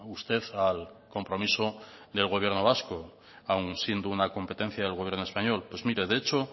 usted al compromiso del gobierno vasco aun siendo una competencia del gobierno español pues mire de hecho